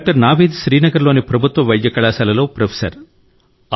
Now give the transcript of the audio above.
doctor Naveed Srinagar లోని ప్రభుత్వ వైద్య కళాశాలలో ప్రొఫెసర్